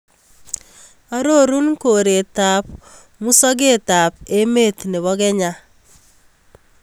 Arorun kooretap musogetap emet ne po Kenya